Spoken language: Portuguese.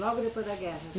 Logo depois da guerra?